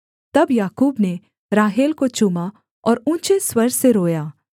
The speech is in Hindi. तब याकूब ने राहेल को चूमा और ऊँचे स्वर से रोया